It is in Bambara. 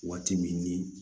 Waati min ni